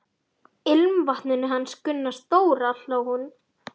Ilmvatninu hans Gunna stóra! hló hún.